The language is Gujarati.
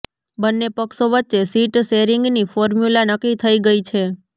બંને પક્ષો વચ્ચે સીટ શેરિંગની ફોર્મ્યુલા નક્કી થઈ ગઈ છે